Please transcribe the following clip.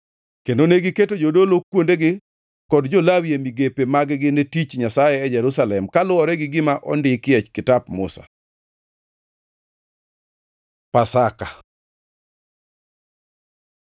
Kendo negiketo jodolo kuondegi kod jo-Lawi e migepe mag-gi ne tich Nyasaye e Jerusalem, kaluwore gi gima ondikie Kitap Musa. Pasaka